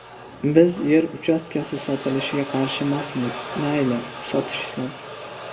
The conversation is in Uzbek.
Biz yer uchastkasi sotilishiga qarshimasmiz, mayli, sotishsin.